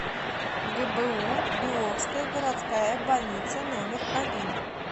гбу беловская городская больница номер один